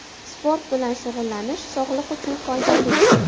Sport bilan shug‘ullanish sog‘liq uchun foydali.